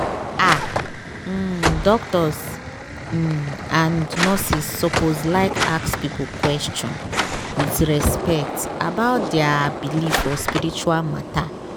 ah! um doctors um and nurses lsuppose like ask people question with respect about dia believe for spiritual matter.